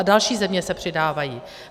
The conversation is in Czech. A další země se přidávají.